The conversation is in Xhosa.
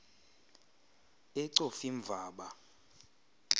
ecofimvaba